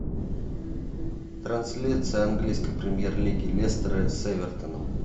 трансляция английской премьер лиги лестера с эвертоном